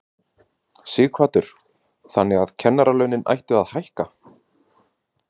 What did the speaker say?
Sighvatur: Þannig að kennaralaunin ættu að hækka?